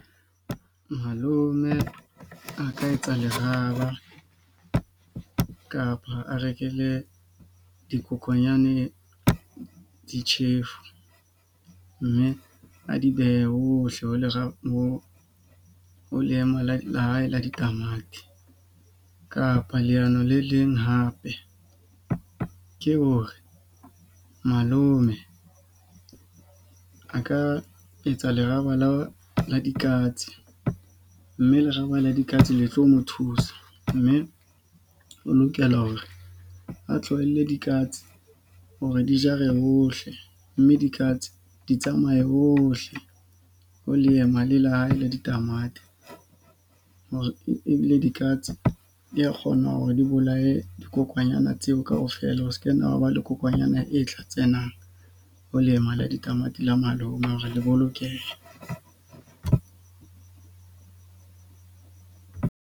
Malome a ka etsa leraba kapa a rekele dikokonyane ditjhefu. Mme a di behe ohle ho lera ho leema lehae la ditamati. Kapa leano le leng hape ke hore malome a ka etsa leraba la la dikatse. Mme leraba la dikatse le tlo mo thusa. Mme o lokela hore a tlohelle dikatse ho re di ja re hohle. Mme dikatse di tsamaye hohle ho leema le la hae la ditamati. Ho hore ebile di katse di a kgona hore di bolaye dikokonyana tseo ka ofela. O seka nna wa ba le kokonyana e tla tsenang ho leema la ditamati la malome. Hore le bolokehe.